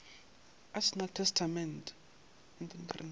a se na le testamente